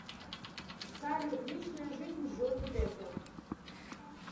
салют личная жизнь джонни деппа